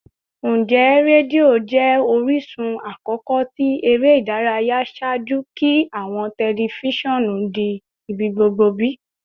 Njẹ redio jẹ orisun akọkọ ti ere idaraya ṣaaju ki awọn tẹlifisiọnu di ibigbogbo bi?